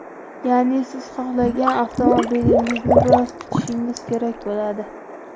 Ya’ni siz xohlagan avtomobilingizni biroz kutishingiz kerak bo‘ladi.